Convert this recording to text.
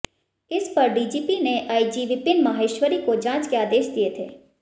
इस पर डीजीपी ने आईजी विपिन माहेश्वरी को जांच के आदेश दिए थे